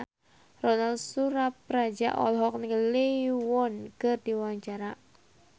Ronal Surapradja olohok ningali Lee Yo Won keur diwawancara